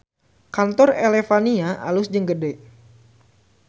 Kantor Elevania alus jeung gede